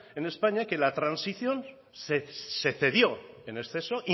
en españa que la transición se cedió en exceso